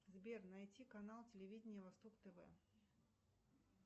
сбер найти канал телевидения восток тв